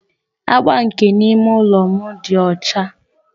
Agba nke ime ụlọ m dị ọcha.